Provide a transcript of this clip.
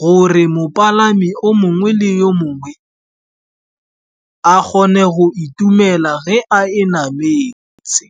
gore mopalami o mongwe le yo mongwe a kgone go itumela ge a e nametse.